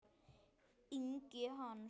Ingi Hans.